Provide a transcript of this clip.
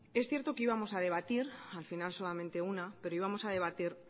es cierto que íbamos a debatir al final solamente una pero íbamos a debatir